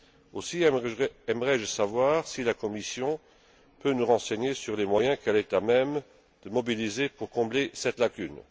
Aussi aimerais je savoir si la Commission peut nous renseigner sur les moyens qu'elle est à même de mobiliser pour combler cette lacune.